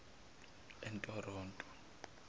entororo